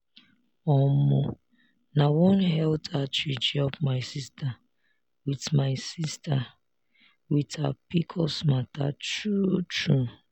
omo nah one health outreach help my sister with my sister with her pcos matter true true.